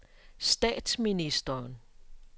statsministeren